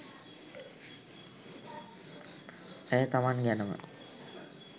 ඇය තමන් ගැනම